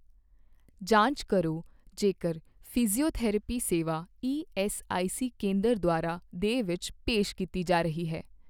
ਜਾਂਚ ਕਰੋ ਜੇਕਰ ਫਿਜ਼ੀਓਥੈਰੇਪੀ ਸੇਵਾ ਈਐੱਸਆਈਸੀ ਕੇਂਦਰ ਦੁਆਰਾ ਦੇ ਵਿੱਚ ਪੇਸ਼ ਕੀਤੀ ਜਾ ਰਹੀ ਹੈ।